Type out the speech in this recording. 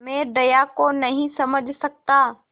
मैं दया को नहीं समझ सकता